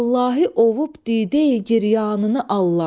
Vallahi ovub didey giryanını allam.